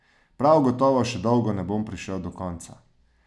Prav gotovo še dolgo ne bom prišel do konca.